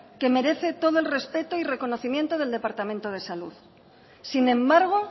que merece todo el respeto y reconocimiento del departamento de salud sin embargo